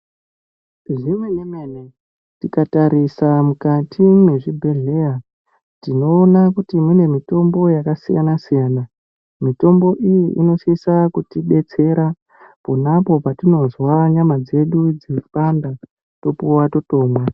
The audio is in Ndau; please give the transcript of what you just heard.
Zvemene mene tikatasira mukati mezvibhedhlera tinoona kuti mune mitombo yakasiyana-siyana. Mitombo iyi inosisa kutidetsera pona apo patinozwa nyama dzedu dzeipanda topuwa totomwa.